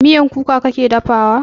Miyan kuka kake dafa wa?